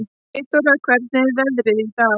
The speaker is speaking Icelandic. Eyþóra, hvernig er veðrið í dag?